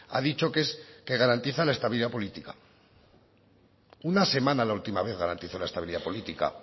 ha dicho que es que garantiza la estabilidad política una semana la última vez garantizó la estabilidad política